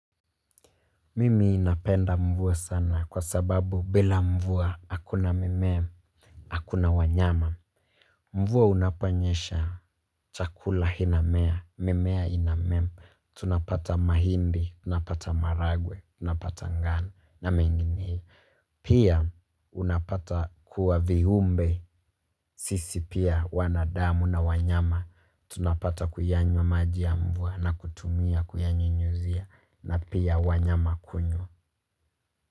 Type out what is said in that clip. Mimi napenda mvua sana kwa sababu bila mvua akuna mimea, akuna wanyama. Mvua unaponyesha chakula hinamea, mimea inamem. Tunapata mahindi, tunapata maragwe, tunapata ngano na mengine hii pia unapata huwa vihumbe, sisi pia wanadamu na wanyama. Tunapata kuyanywa maji ya mvua na kutumia kuyanyunyuzia na pia wanyama kunywa.